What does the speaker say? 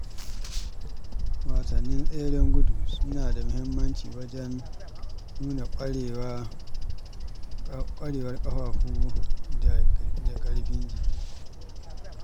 Wasannin tseren gudu suna da mahimmanci wajen nuna ƙwarewar ƙafafu da ƙarfin jiki.